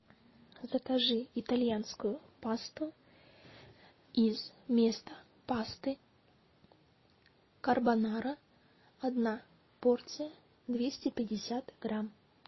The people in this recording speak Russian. закажи итальянскую пасту из места пасты карбонара одна порция двести пятьдесят грамм